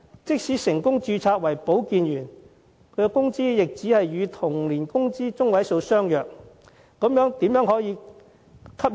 即使成功註冊為保健員，工資也只是與同齡的工資中位數相若。